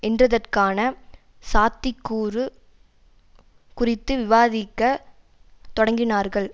என்றதற்கான சாத்திக்கூறு குறித்து விவாதிக்க தொடங்கினார்கள்